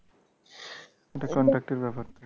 একটা contact এর ব্যাপার থাকে।